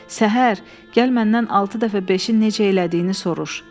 Səhər, gəl məndən altı dəfə beşi necə elədiyini soruş.